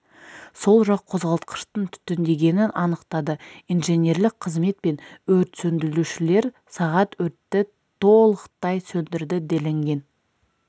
сол жақ қозғалтқыштың түтіндегенін анықтады инженерлік қызмет пен өрт сөндірушілер сағат өртті толықтай сөндірді делінген